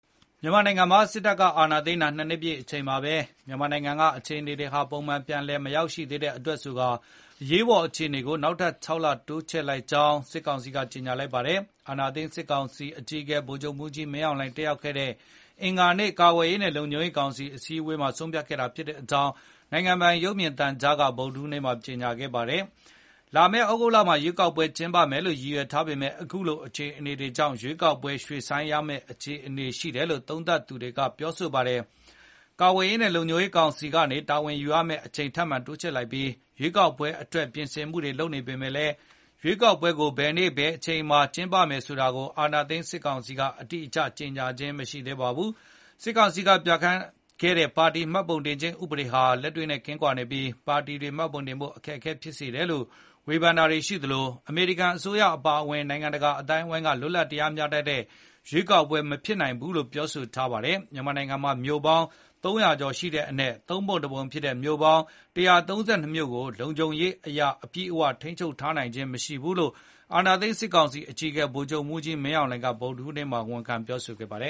မြန်မာနိုင်ငံမှာ စစ်တပ်ကအာဏာသိမ်း ၂ နှစ်ပြည့်အချိန်မှာပဲ မြန်မာနိုင်ငံက အခြေအနေတွေဟာပုံမှန်ပြန်လည် မရောက်ရှိသေးတဲ့အတွက်ဆိုကာ အရေးပေါ်အခြေအနေကို နောက်ထပ် ၆ လ တိုးချဲ့လိုက်ကြောင်း စစ်ကောင်စီက ကြေညာလိုက်ပါတယ်။ အာဏာသိမ်းစစ် ကောင်စီအကြီးအကဲ ဗိုလ်ချုပ်မှူးကြီးမင်းအောင်လှိုင် တက်ရောက်ခဲ့တဲ့ အင်္ဂါနေ့ ကာကွယ်ရေးနဲ့လုံခြုံရေးကောင်စီအစည်းအဝေးမှာ ဆုံးဖြတ်ခဲ့တာဖြစ်ကြောင်း နိုင်ငံပိုင် ရုပ်မြင်သံကြားမှာ ဗုဒ္ဓဟူးနေ့က ကြေညာခဲ့တာပါ။ လာမယ့်သြဂုတ်လမှာ ရွေးကောက်ပွဲကျင်းပမယ်လို့ရည်ရွယ်ထားပေမဲ့ အခုလိုအခြေအနေတွေကြောင့် ရွေးကောက်ပွဲ ရွှေ့ဆိုင်းရမဲ့အခြေအနေရှိတယ်လို့ သုံးသပ်သူတချို့ကပြောဆိုပါတယ်။ ကာကွယ်ရေးနဲ့လုံခြုံရေးကောင်စီက တာဝန်ယူရမယ့်အချိန်ထပ်မံတိုးချဲ့လိုက်ပြီး ရွေးကောက်ပွဲအတွက်ပြင်ဆင်နေပေမယ့်လည်း ရွေးကောက်ပွဲကို ဘယ်နေ့ဘယ်အချိန်မှာကျင်းပမယ်ဆိုတာကို အာဏာသိမ်းစစ်ကောင်စီက အတိအကျကြေညာခြင်းမရှိသေးပါဘူး။ စစ်ကောင်စီကပြဌာန်းခဲ့တဲ့ ပါတီမှတ်ပုံတင်ခြင်းဥပဒေတွေဟာ လက်တွေနဲ့ကင်းကွာနေပြီး ပါတီတွေမှပုံတင်ဖို့အခက်အခဲတွေဖြစ်စေတယ်လို့ ဝေဖန်တာတွေရှိသလို အမေရိကန်အစိုးရအပါအဝင် နိုင်ငံတကာအသိုင်းအဝိုင်းက လွတ်လပ်တရားမျှတတဲ့ရွေးကောက်ပွဲမဖြစ်နိုင်ဘူးလို့ ပြောဆိုထားပါတယ်။ မြန်မာနိုင်ငံမှာ မြို့ပေါင်း ၃၀၀ ကျော်ရှိတဲ့အနက် သုံးပုံတပုံဖြစ်တဲ့ ၁၃၂ မြို့ကို လုံခြုံရေးအရအပြည့်အဝထိန်းချုပ်ထားနိုင်ခြင်းမရှိဘူးလို့ အာဏာသိမ်းစစ်ကောင်စီအကြီးအကဲ ဗိုလ်ချုပ်မှူးကြီးမင်းအောင်လှိုင်က ဗုဒ္ဓဟူးနေ့မှာ ဝန်ခံပြောဆိုခဲ့ပါတယ